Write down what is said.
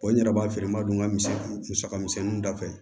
n yɛrɛ b'a feere n b'a dɔn n bɛ musaka misɛnninw da fɛ